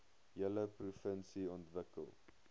hele provinsie ontwikkel